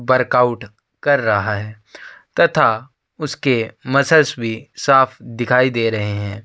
Barq out कर रहा है तथा उसके मसल्स भी साफ़ दिखाई रहे हैं।